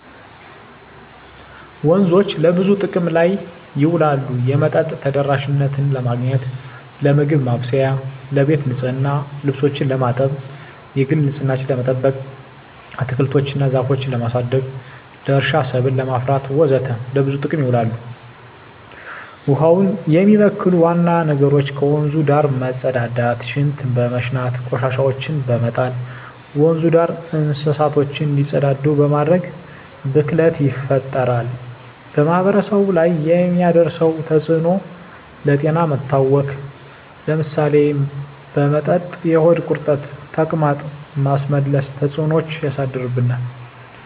ወንዞች ለብዙ ጥቅም ላይ ይውላሉ የመጠጥ ተደራሽነትን ለማግኘት, ለምግብ ማብሰያ , ለቤት ንፅህና , ልብሶችን ለማጠብ, የግል ንፅህናችን ለመጠበቅ, አትክልቶች እና ዛፎችን ለማሳደግ, ለእርሻ ሰብል ለማፍራት ወዘተ ለብዙ ጥቅም ይውላል። ውሀውን የሚበክሉ ዋና ነገሮች ከወንዙ ዳር መፀዳዳት , ሽንት በመሽናት, ቆሻሻዎችን በመጣል, ወንዙ ዳር እንስሳቶች እንዲፀዳዱ በማድረግ ብክለት ይፈጠራል። በማህበረሰቡ ላይ የሚያደርሰው ተፅዕኖ ለጤና መታወክ ለምሳሌ በመጠጥ የሆድ ቁርጠት , ተቅማጥ, ማስመለስ ተፅዕኖች ያሳድርብናል።